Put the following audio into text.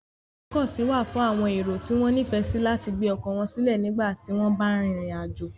Ibi ìgbókòsí wa fún àwon èrò tí wón nífèsí láti gbé okò won sílè nígbàtí won ba n rìnrìn àjò